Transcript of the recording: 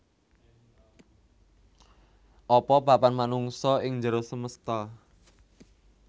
Apa papan manungsa ing njero semesta